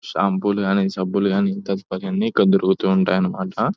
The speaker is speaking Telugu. షాంపూలు గాని సబ్బులు గాని తదుపరి వన్ని ఇక్కడ దొరుకుతూ ఉంటాయి అన్నమాట .